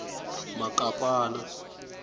makapana